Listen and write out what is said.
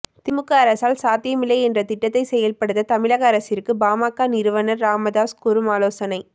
திமுக அரசால் சாத்தியமில்லை என்ற திட்டத்தை செயல்படுத்த தமிழக அரசிற்கு பாமக நிறுவனர் ராமதாஸ் கூறும் ஆலோசனை